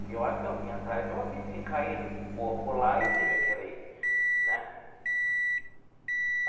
Porque eu acho que eu vim atrás, e eu vi sim caído, um corpo lá e teve aquele, né?